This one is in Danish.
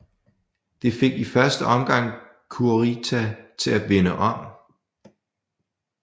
Det fik i første omgang Kurita til at vende om